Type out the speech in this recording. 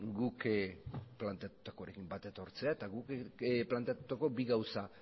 guk planteatutakoarekin bat etortzea eta guk planteatutako bi gauza